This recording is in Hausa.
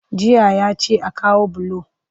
Jiya ya ce a kawo bulo